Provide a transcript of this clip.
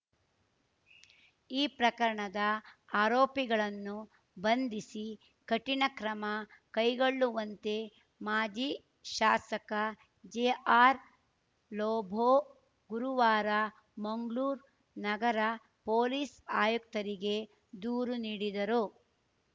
ಈ ಪ್ರಕರಣದ ಆರೋಪಿಗಳನ್ನು ಬಂಧಿಸಿ ಕಠಿಣ ಕ್ರಮ ಕೈಗೊಳ್ಳುವಂತೆ ಮಾಜಿ ಶಾಸಕ ಜೆಆರ್‌ ಲೋಬೊ ಗುರುವಾರ ಮಂಗ್ಳೂರ್ ನಗರ ಪೊಲೀಸ್‌ ಆಯುಕ್ತರಿಗೆ ದೂರು ನೀಡಿದರು